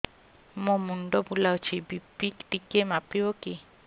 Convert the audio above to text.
ମୋ ମୁଣ୍ଡ ବୁଲାଉଛି ବି.ପି ଟିକିଏ ମାପିବ କି